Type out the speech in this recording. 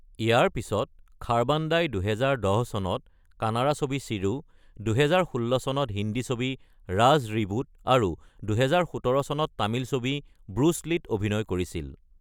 ইয়াৰ পিছত খাৰবাণ্ডাই ২০১০ চনত কানাড়া ছবি চিৰু, ২০১৬ চনত হিন্দী ছবি ৰাজ: ৰিবুট, আৰু ২০১৭ চনত তামিল ছবি ব্ৰুচ লীত অভিনয় কৰিছিল।